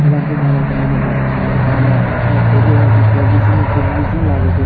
ओकरा में four G SIM three G SIM लागे छे।